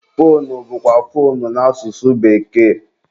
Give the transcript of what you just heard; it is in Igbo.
foonu bụkwa foonu n'asụsụ bekee.